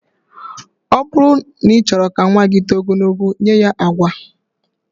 Ọ bụrụ na ị chọrọ ka nnwa gị too ogologo, nye ya agwa